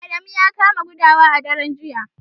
Adamu ya kamu da gudawa a daren jiya